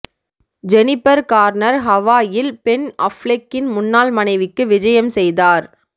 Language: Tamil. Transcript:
ஜெனிபர் கார்னர் ஹவாயில் பென் அஃப்லெக்கின் முன்னாள் மனைவிக்கு விஜயம் செய்தார்